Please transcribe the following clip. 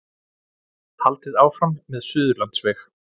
Haldið áfram með Suðurlandsveg